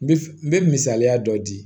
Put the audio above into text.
N bɛ f n bɛ misaliya dɔ di